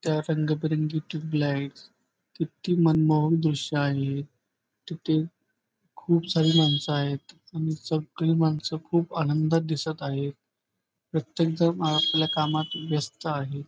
त्या रंगबिरंगी tube light किती मनमोहक दृश्य आहे किती खूप सारी माणस आहेत आणि सगळी माणस खूप आनंदात दिसत आहेत प्रत्येकजण आपापल्या कामात व्यस्त आहे.